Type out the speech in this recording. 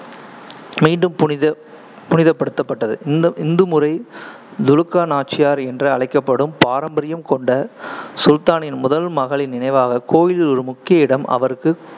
மீண்டும் புனித புனிதப்படுத்தப்பட்டது. இந்த இந்து முறை, துலுக்கா நாச்சியார் என்று அழைக்கப்படும் பாரம்பரியம் கொண்ட சுல்தானின் முதல் மகளின் நினைவாக கோயிலில் ஒரு முக்கிய இடம் அவருக்கு